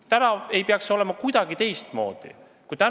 Nüüd ei tohiks see kuidagi teistmoodi olla.